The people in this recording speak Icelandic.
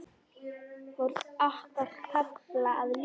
Var okkar kafla að ljúka?